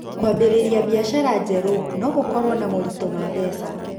Kwambĩrĩria biacara njerũ no gũkorũo na moritũ ma mbeca.